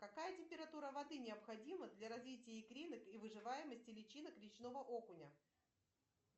какая температура воды необходима для развития икринок и выживаемости личинок речного окуня